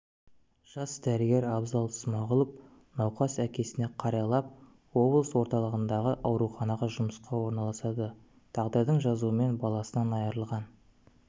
жас дәрігер абзал смағұлов науқас әкесіне қарайлап облыс орталығындағы ауруханаға жұмысқа орналасады тағдырдың жазуымен баласынан айырылған